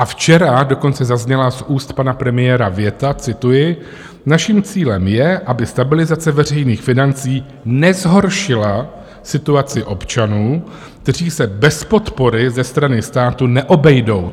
A včera dokonce zazněla z úst pana premiéra věta - cituji: Naším cílem je, aby stabilizace veřejných financí nezhoršila situaci občanů, kteří se bez podpory ze strany státu neobejdou.